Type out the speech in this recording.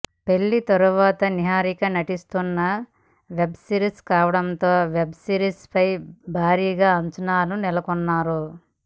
పెళ్లి తర్వాత నిహారిక నటిస్తున్న వెబ్ సిరీస్ కావడంతో ఈ వెబ్ సిరీస్ పై భారీగా అంచనాలు నెలకొన్నాయి